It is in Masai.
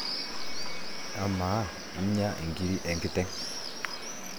amaa inya inkirri enkiteng'